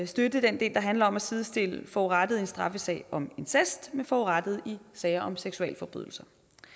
støtte den del der handler om at sidestille forurettede i en straffesag om incest med forurettede i sager om seksualforbrydelser